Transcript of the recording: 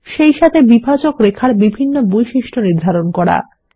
সেইসাথে বিভাজক রেখার বিভিন্ন বৈশিষ্ট্য নির্ধারণ করুন